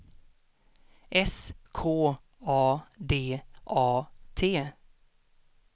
S K A D A T